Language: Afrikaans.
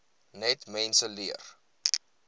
net mense leer